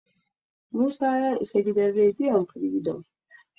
Musa ya isa gidan rediyon Firidom.